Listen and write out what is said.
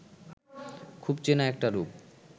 খুব চেনা একটা রূপ